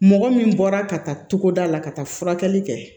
Mɔgɔ min bɔra ka taa togoda la ka taa furakɛli kɛ